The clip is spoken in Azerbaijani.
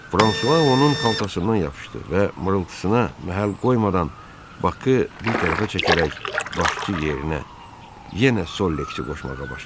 Fransua onun xaltasından yapışdı və mırıltısına məhəl qoymadan Bakı bir tərəfə çəkərək başçı yerinə yenə Sollexi qoşmağa başladı.